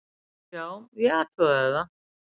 Já, ég athugaði það.